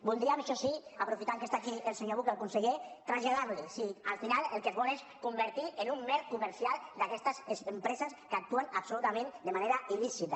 voldríem això sí aprofitant que està aquí el senyor buch el conseller traslladar li si al final el que vol és convertir se en un mer comercial d’aquestes empreses que actuen absolutament de manera il·lícita